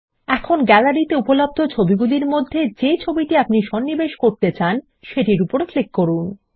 এখন গ্যালারিতে উপলব্ধ ছবিগুলির মধ্যে যে ছবিটি আপনার নথির মধ্যে সন্নিবেশ করতে চান সেটির উপর ক্লিক করুন